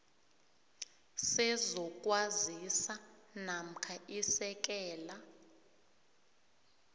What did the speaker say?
sezokwazisa namkha isekela